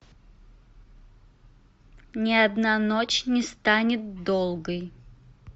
не одна ночь не станет долгой